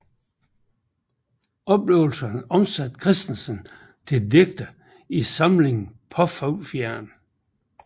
Oplevelserne omsatte Kristensen til digte i samlingen Paafuglefjeren